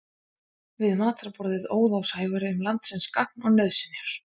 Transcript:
Við matarborðið óð á Sævari um landsins gagn og nauðsynjar.